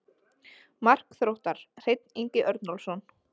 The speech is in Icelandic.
Mark Þróttar: Hreinn Ingi Örnólfsson.